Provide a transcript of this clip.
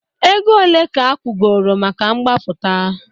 Ego ole ka akwụgoro maka mgbapụta?